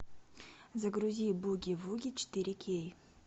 загрузи буги вуги четыре кей